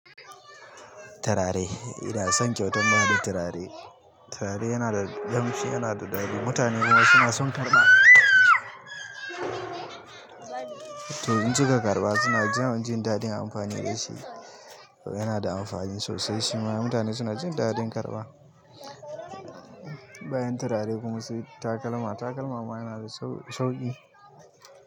Turare, ina son kyautan bada turare. Turare ynan damshi yana daɗi mutane suna son ƙamshin turare to insuka karɓa suna jin daɗin amfani da shi. Yana da amfani sosai shima mutane suna jin daɗin karɓa. Bayan turare kuma su yi takalma. Takalma ma yana da sauƙi.